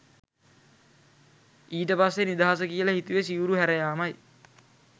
ඊට පස්සේ නිදහස කියල හිතුවෙ සිවුරු හැරයාමයි